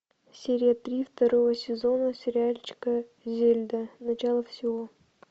серия три второго сезона сериальчика зельда начало всего